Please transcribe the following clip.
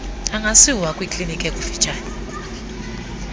angasiwa kwikliniki ekufutshane